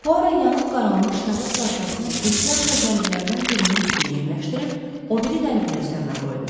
Puaro yanıb qaralmış kağız parçasını ehtiyatla qəliblərindən birinin üstünə yerləşdirib, o biri qəlbi də üzərinə qoydu.